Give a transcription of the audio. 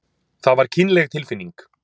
Það var kynleg tilfinning.